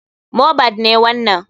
Mohbad ne wanan.